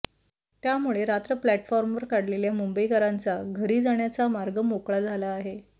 त्यामुळे रात्र प्लॅटफॉर्मवर काढलेल्या मुंबईकरांचा घरी जाण्याचा मार्ग मोकळा झाला आहे